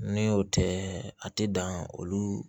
Ni o tɛ a tɛ dan olu